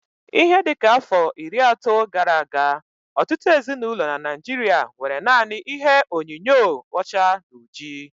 Ihe dịka afọ iri ato gara aga, ọtụtụ ezinaụlọ n'Naijiria nwéré nanị ihe onyinyo ọcha na ọjị